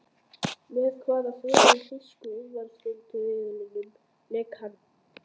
Með hvaða þremur þýsku úrvalsdeildarliðum lék hann?